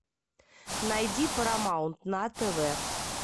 найди парамаунт на тв